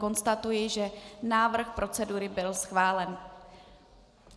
Konstatuji, že návrh procedury byl schválen.